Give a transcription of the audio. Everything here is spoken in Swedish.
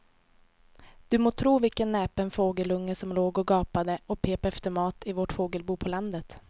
Du må tro vilken näpen fågelunge som låg och gapade och pep efter mat i vårt fågelbo på landet.